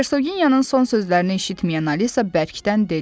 Hersoginyanın son sözlərini eşitməyən Alisa bərkdən dedi: